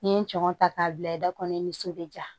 N'i ye n tɔɲɔn ta k'a bila i da kɔnɔ i ni so bɛ ja